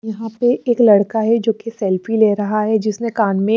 यहां पे एक लड़का है जो की सेल्फी ले रहा है जिसे कान में--